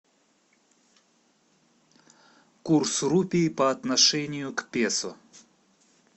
курс рупий по отношению к песо